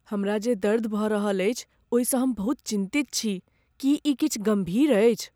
हमरा जे दर्द भऽ रहल अछि ओहिसँ हम बहुत चिन्तित छी। की ई किछु गम्भीर अछि?